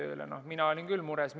Ma ütlen ausalt, et mina olin küll mures.